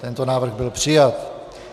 Tento návrh byl přijat.